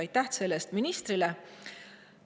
Aitäh ministrile selle eest!